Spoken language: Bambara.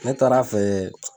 Ne taara fɛ.